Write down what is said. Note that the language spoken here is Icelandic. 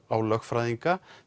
á lögfræðinga